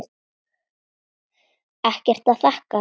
Ekkert að þakka